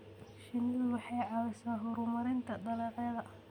Shinnidu waxay caawisaa horumarinta dalagyada.